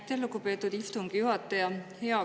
Aitäh, lugupeetud istungi juhataja!